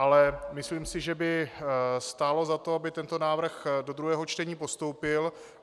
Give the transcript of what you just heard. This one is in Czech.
Ale myslím si, že by stálo za to, aby tento návrh do druhého čtení postoupil.